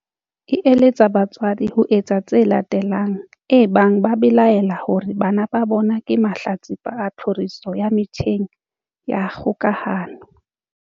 E eletsa batswadi ho etsa tse latelang ebang ba belaela hore bana ba bona ke mahlatsipa a tlhoriso ya metjheng ya kgokahano.